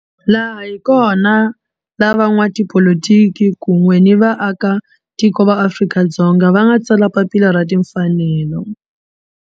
Laha hi kona la van'watipolitiki kun'we ni vaakatiko va Afrika-Dzonga va nga tsala papila ra timfanelo.